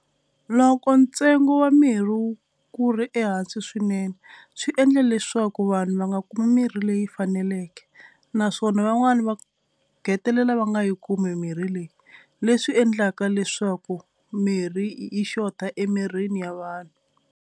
Loko ntsengo wa mirhi wu ku ri ehansi swinene swi endla leswaku vanhu va nga kumi mirhi leyi faneleke naswona van'wani va hetelela va nga kumi mirhi leyi faneleke naswona vanwana va hetelela va nga yi kumi mirhi leyi. Leswi endlaka leswaku mirhi yi xota emirini ya vanhu.